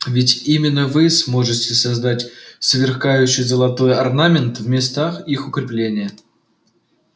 ведь именно вы сможете создать сверкающий золотой орнамент в местах их укрепления